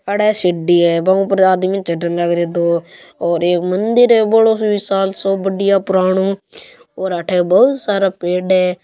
अड़ सीढ़ी है बंग ऊपर आदमी चढने लाग रा दो और एक मंदिर है बोलो सो विसाल सो बढ़िया पुरानो और अठे बहुत सारा पेड़ है।